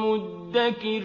مُّدَّكِرٍ